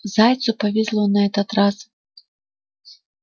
зайцу повезло на этот раз